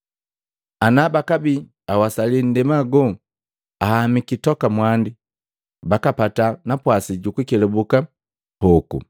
Ana bakabii awasali nndema go ahamiki toka mwandi, bakapata napwasi jukukelabuka hoku.